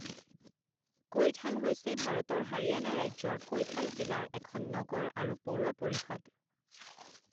কৈথাল হৈছে ভাৰতৰ হাৰিয়ানা ৰাজ্যৰ কৈথাল জিলাৰ এখন নগৰ আৰু পৌৰ পৰিষদ।